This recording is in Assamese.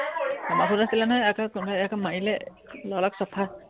বাছত আছিলে নহয়, ইয়াকে কোনোবাই ইয়াকে মাৰিলে লৰাক চফা